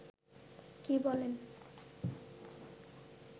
কী বলেন